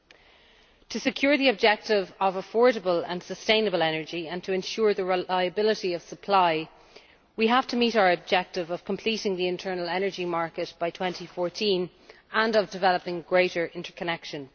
In order to secure the objective of affordable and sustainable energy, and to ensure the reliability of supply, we have to meet our objective of completing the internal energy market by 2014 and of developing greater interconnection.